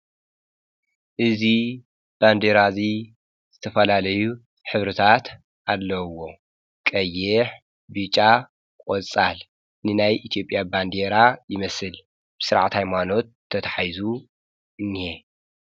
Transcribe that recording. እዙይ ባንዴራ እዙይ ዝተፈላለዩ ኅብርታት ኣለዉዎ። ቀይሕ፣ ቢጫ፣ ቖጻል ንናይ ኢትዮጵያ ባንዲራ ይመስል ብሥርዓት ሃይማኖት ተተሒይዙ እነሀ።